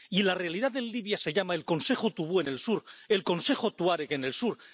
Y la realidad en Libia se llama el Consejo Tubu en el sur, el Consejo Tuareg en el sur